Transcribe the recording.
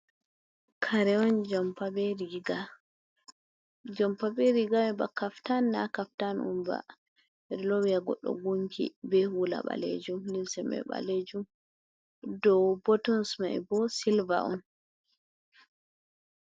Kare'on Jompa be Riga, Jompa be Riga Mai ba kaftan na kaftan Onba. Ɓedou Lowi Ha Goɗɗo Gunki be hula Ɓalejum. Limse Man Ɓalejum dou Botons mai bo Silver on.